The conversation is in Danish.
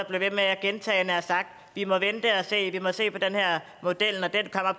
blev ved med at gentage vi må vente og se vi må se på den her model